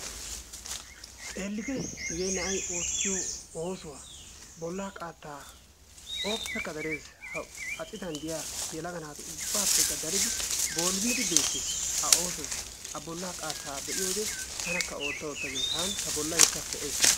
Xeellite! hege na'ay oottiyo oosuwaa, bolla qaatta ooppekka darees. ha citan diyaa yelaga naatu ubbappekka daridi boolimidi beettees a oosoya a bollaa qaatta be'iyoode tanakka ootta ootta gees. hani ta bollaykka ho''ees.